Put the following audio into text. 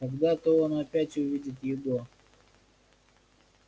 когда-то он опять увидит его